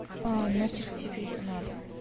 а нахер тебе это надо